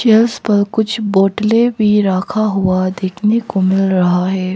Chairs पर कुछ बोतले भी रखा हुआ देखने को मिल रहा है।